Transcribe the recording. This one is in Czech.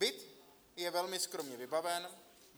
Byt je velmi skromně vybaven.